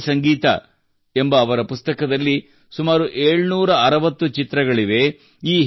ಭಾರತೀಯ ಸಂಗೀತ ಎಂಬ ಅವರ ಪುಸ್ತಕದಲ್ಲಿ ಸುಮಾರು 760 ಚಿತ್ರಗಳಿವೆ